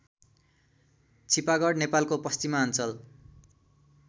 छिपागढ नेपालको पश्चिमाञ्चल